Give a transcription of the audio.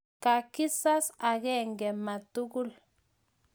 ka kisas angenge ma tugul